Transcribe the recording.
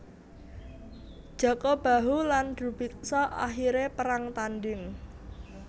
Jaka Bahu lan Drubiksa akhire perang tanding